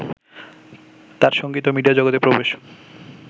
তাঁর সঙ্গীত ও মিডিয়া জগতে প্রবেশ